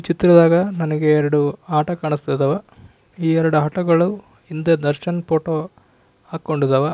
ಈ ಚಿತ್ರದಾಗ ನನಗೆ ಎರಡು ಆಟೋ ಕಾಣಿಸ್ತಾ ಅದಾವ ಈ ಎರಡು ಆಟೋ ಗಳು ಹಿಂದೆ ದರ್ಶನ್ ಫೋಟೋ ಹಾಕ್ಕೊಂಡಾದವ --